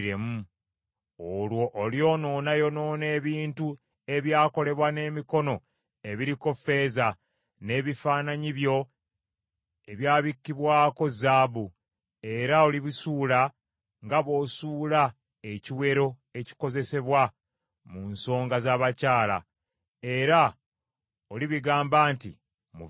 Olwo olyonoonayonoona ebintu ebyakolebwa n’emikono ebiriko ffeeza, n’ebifaananyi byo ebyabikkibwako zaabu, era olibisuula nga bw’osuula ekiwero ekikozesebwa mu nsonga za bakyala era olibigamba nti, “Muveewo.”